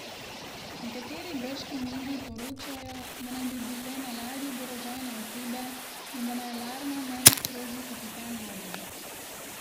Nekateri grški mediji poročajo, da naj bi bile na ladji oborožene osebe in da naj alarma ne bi sprožil kapitan ladje.